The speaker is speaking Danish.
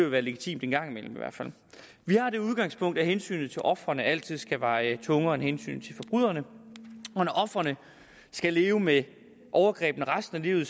være legitimt en gang imellem i hvert fald vi har det udgangspunkt at hensynet til ofrene altid skal veje tungere end hensynet til forbryderne og når ofrene skal leve med overgrebene resten af livet